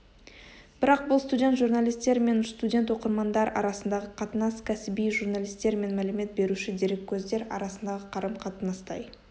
бірақ бұл студент журналистер мен студент оқырмандар арасындағы қатынас кәсіби журналистер мен мәлімет беруші дереккөздер арасындағы қарым-қатынастай